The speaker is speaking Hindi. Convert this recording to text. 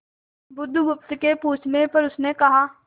बुधगुप्त के पूछने पर उसने कहा